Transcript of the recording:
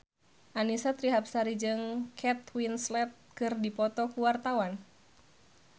Annisa Trihapsari jeung Kate Winslet keur dipoto ku wartawan